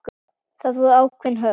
Það voru ákveðin höft.